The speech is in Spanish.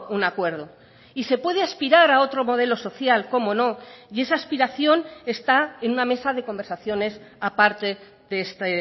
un acuerdo y se puede aspirar a otro modelo social como no y esa aspiración está en una mesa de conversaciones a parte de este